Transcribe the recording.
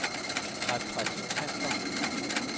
repræsentanter